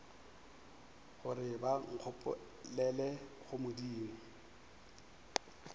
gore ba nkgopelele go modimo